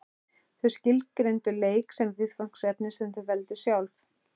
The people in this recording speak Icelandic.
Þau skilgreindu leik sem viðfangsefni sem þau veldu sjálf.